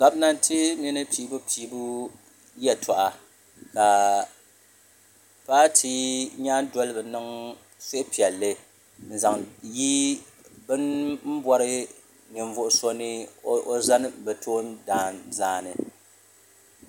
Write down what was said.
Gomnanti mini piibu piibu yeltɔɣa ka paati nyandoliba niŋ suhupiɛlli n zaŋ yi bini bori ninvuɣu so ni zani bɛ toondan zaani.